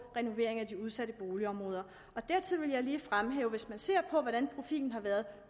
renovering af de udsatte boligområder dertil vil jeg lige fremhæve hvis man ser på hvordan profilen har været